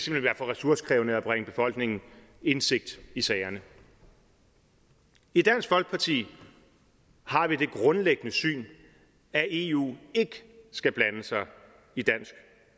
vil være for ressourcekrævende at bringe befolkningen indsigt i sagerne i dansk folkeparti har vi det grundlæggende syn at eu ikke skal blande sig i dansk